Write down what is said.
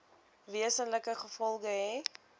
wesenlike gevolge hê